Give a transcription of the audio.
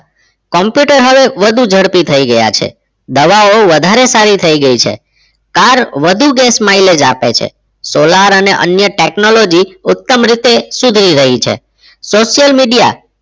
Computer હવે વધુ ઝડપી થઈ ગયા છે દવાઓ હવે વધારે સારી થઈ ગઈ છે car વધુ gas mileage આપે છે solar અને અન્ય technology ઉત્તમ રીતે સુધરી રહી છે social media